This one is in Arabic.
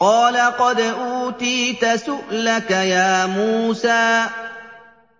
قَالَ قَدْ أُوتِيتَ سُؤْلَكَ يَا مُوسَىٰ